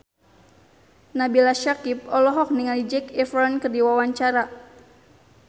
Nabila Syakieb olohok ningali Zac Efron keur diwawancara